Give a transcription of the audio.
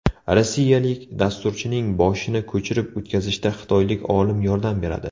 Rossiyalik dasturchining boshini ko‘chirib o‘tkazishda xitoylik olim yordam beradi.